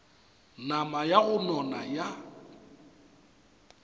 nama ya go nona ya